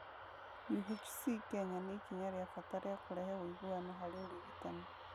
UHC Kenya nĩ ikinya rĩa bata rĩa kũrehe ũiguano harĩ ũrigitani.